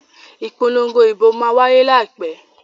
Ìpolongo ìbò máa wáyé láìpẹ́.